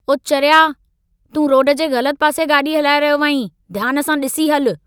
ओ चरिया, तूं रोड जे ग़लतु पासे गाॾी हलाए रहियो आहीं। ध्यान सां ॾिसी हलु।